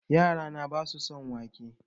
Yara na basu son wake